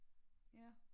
Ja